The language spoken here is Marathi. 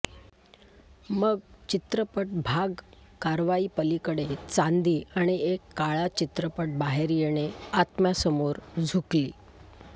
मग चित्रपट भाग कारवाई पलीकडे चांदी आणि एक काळा चित्रपट बाहेर येणे आत्मासमोर झुकली